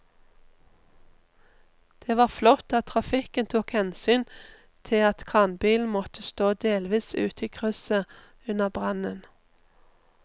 Det var flott at trafikken tok hensyn til at kranbilen måtte stå delvis ute i krysset under brannen.